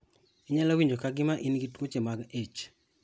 Inyalo winjo kagima in gi tuoche mag ich.